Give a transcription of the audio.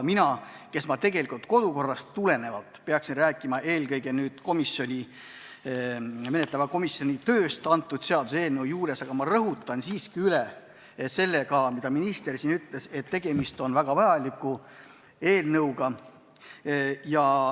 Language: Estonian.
Mina, kes ma kodukorrast tulenevalt peaksin rääkima eelkõige menetleva komisjoni tööst, rõhutan siiski üle, et nagu minister siin ütles, tegemist on väga vajaliku eelnõuga.